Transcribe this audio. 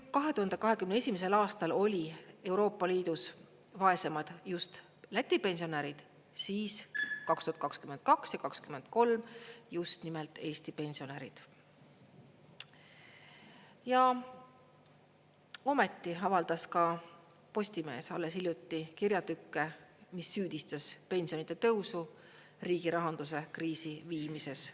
Ja ometi avaldas ka Postimees alles hiljuti kirjatükke, mis süüdistasid pensionide tõusu riigi rahanduse kriisi viimises.